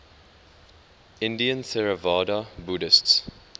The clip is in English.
indian theravada buddhists